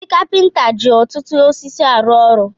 Ndị kapinta ji ọtụtụ osisi arụ ọrụ.